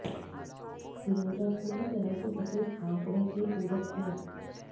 फ़िरोज़ा पूरी तरह से सफेद आंकड़े के पूरक हैं